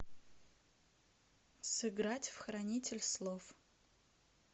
сыграть в хранитель слов